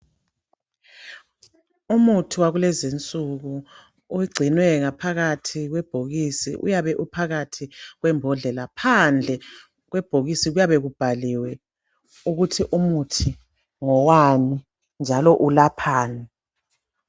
Umuthi wakulezi insuku, ugcinwe phakathi kwebhokisi uyabe uphakathi kwembodlela phandle kwebhokisi kuyabe kubhaliwe ukuthi umuthi ngowani njalo ulaphani.